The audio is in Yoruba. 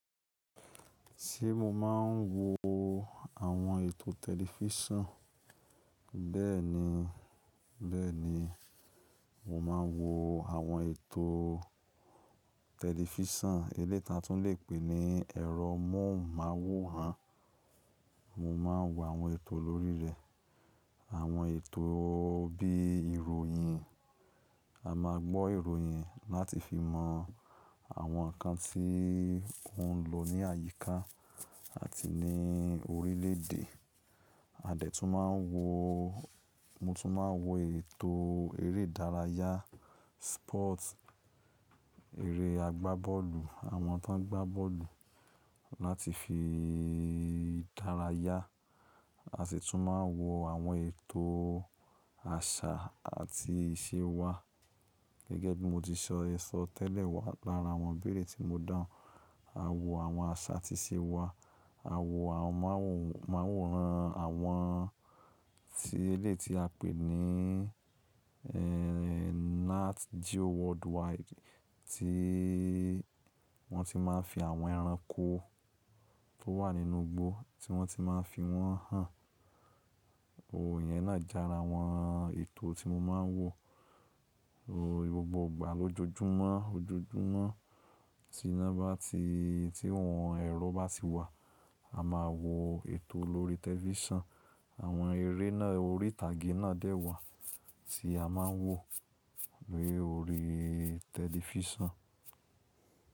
Ṣé mo máa ń wo àwọn ètò tẹlifísàn? Bẹ́ẹ̀ni, bẹ́ẹ̀ni, mo máa ń wo àwọn ètò tẹlifísàn eléyi tí a tún lè pè ní ẹ̀rọ móhùnmáwòrán. Mo máa ń wo àwọn ètò lórí rẹ̀. Àwọn ètò bí ìròyìn, a máa gbọ́ ìròyìn láti fi mọ àwọn nǹkan tí ó ń lọ ní àyíká àti ní orílẹ̀ èdè. A dẹ̀ tún máa ń wo, mo tún máa ń wo ètò eré ìdárayá, sport, eré àgbá bọ́ọ̀lù, àwọn tó ń gbá bọ́ọ̀lù láti fi dárayá. A sì tún máa ń wo àwọn ètò àṣà àti ìṣe wa gẹ́gẹ́ bí mo ti sọ ẹ̀sọ̀ tẹ́lẹ̀ wá lára àwọn ibeére tí mo dáhùn. A wo àwọn àṣà àti ìṣe wa, a wo àwọn móhùnmáwòrán àwọn tí eléyi ti a pè ní, Nat Geo worldwide. Tí wọ́n ti máa ń fi àwọn ẹranko tó wà nínú igbó tí wọ́n ti máa ń fi wọ́n hàn. Ohun yẹn náà jára àwọn ètò tí mo máa ń wo. O gbọgbọ̀ igbà lọjọjúmọ́, ojoojúmọ́ tí iná bá ti, tí ohun ẹ̀rọ bá ti wà. A máa wo ètò lórí tẹlifísàn. Àwọn eré náà orí ìtàgé náà dẹ́ wà tí a máa ń wò ni órí tẹlifísàn.